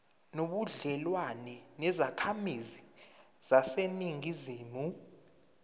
nobudlelwane nezakhamizi zaseningizimu